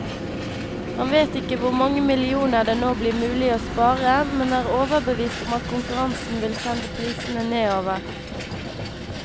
Han vet ikke hvor mange millioner det nå blir mulig å spare, men er overbevist om at konkurransen vil sende prisene nedover.